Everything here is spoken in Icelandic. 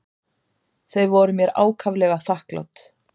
Þau voru mér ákaflega þakklát.